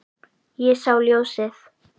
Ég sá ljósið